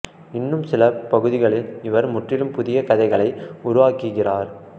இன்னும் சில பகுதிகளில் இவர் முற்றிலும் புதிய கதைகளை உருவாக்குகிறார்